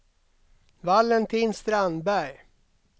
Valentin Strandberg